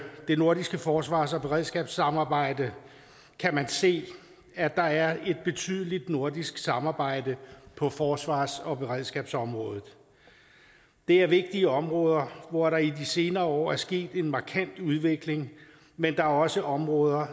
det nordiske forsvars og beredskabssamarbejde kan man se at der er et betydeligt nordisk samarbejde på forsvars og beredskabsområdet det er vigtige områder hvor der i de senere år er sket en markant udvikling men der er også områder